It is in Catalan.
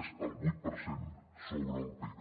és el vuit per cent sobre el pib